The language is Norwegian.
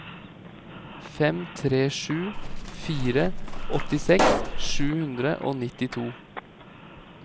fem tre sju fire åttiseks sju hundre og nittito